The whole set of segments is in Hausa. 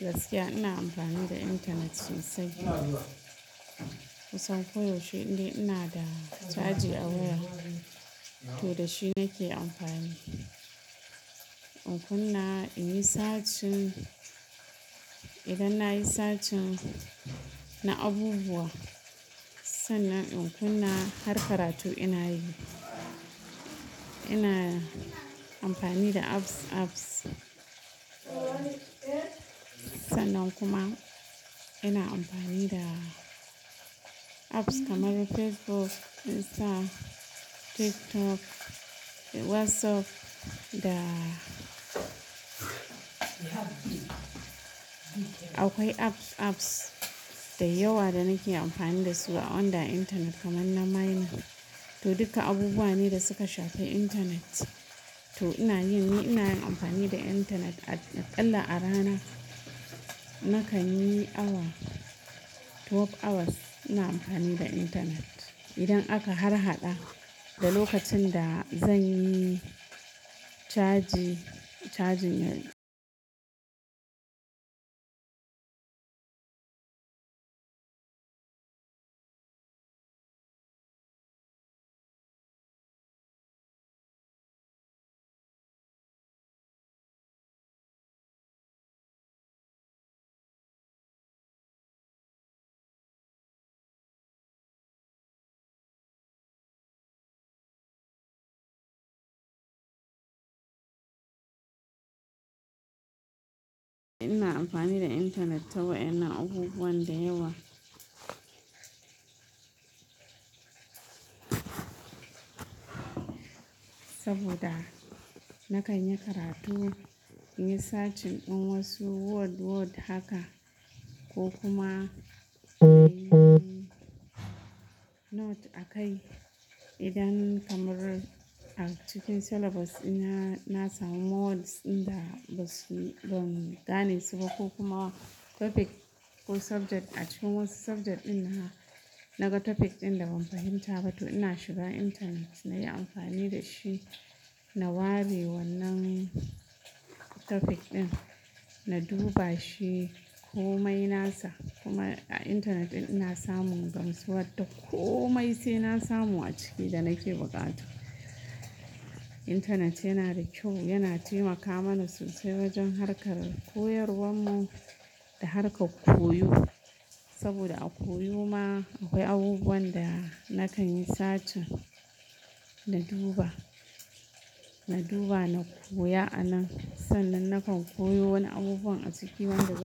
Gaskiya ina amfani da intanet sosai. Kusan koyaushe inda ina da caji awaya, to da shi nake amfani. In kunna in yi searching, idan na yi searching na abubuwa, sannan in kunna har karatu ina yi. Ina amfani da apps, apps. Sannan kuma ina amfani da apps kamar Facebook, Insta, TikTok, WhatsApp da akwai apps, apps da yawa da nake amfani da su a on the internet kamar miner. To duka abubuwan ne da suka shafi internet. To ina yi, ina yin amfani da internet akalla a rana nakan yi awa, 12 hours ina amfani da internet. Idan aka harhaɗa da lokacin da zan yi caji, cajin yayi. Ina amfani da internet to wa ina abubuwan da yawa. Saboda nakan yi karatu, in yi searching wasu word, word haka ko kuma note a kai. Idan kamar a cikin syllabus ina, na samu words inda ba su, ban gane su ba ko kuma topic ko subject a cikin wasu subject ɗin naka topic ɗin da ban fahimta ba to ina shiga intanet na yi amfani da shi, na wari wannan topic ɗin, na duba shi ko mai nasa. Kuma a internet ɗin ina samun gamsuwa, dakko mai sai na samu a ciki da nake bukata. Internet yana da kyau, yana taimaka mana sosai wajen harkar koyarwar mu da harka koyo. Saboda a koyo ma akwai abubuwan da nakan yi searching, na duba, na duba na koya ansn, sannan nakan koyo wani abubuwan a cikin wanda zan.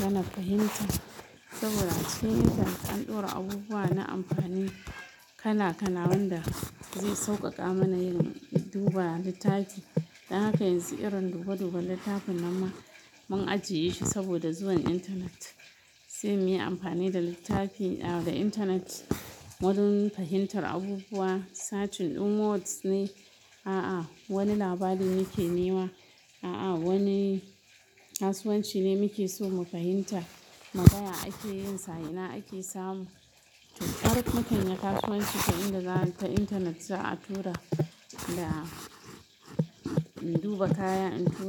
Dan na fahimta saboda cikin internet an ɗora abubuwa na amfani, kala kala wanda zai sauƙaƙa mana yin, duba littafi. Dan haka yanzu irin duba duba littafin nan ma mun ajiye shi saboda zuwan intanet. Se munyi amfani da littafi, da intanet wurin fahimtar abubuwa searching din words ne aa wani labari nike nema aa wani kasuwanci ne muke so mu fahimta muga ya ake yin sa ina ake samu to hara mukanya kasuwanci ta inda za'a ta intanet za a tura da mu duba kaya in tura.